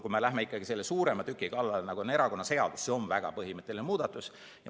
Kui me läheme ikkagi sellise suurema tüki kallale, nagu on erakonnaseadus, siis see on väga põhimõtteline muudatus.